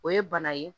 O ye bana ye